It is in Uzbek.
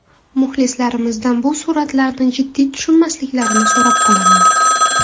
Muxlislarimizdan bu suratlarni jiddiy tushunmasliklarini so‘rab qolaman.